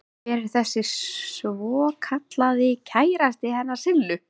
Hver er þessi svokallaði kærasti hennar Sillu?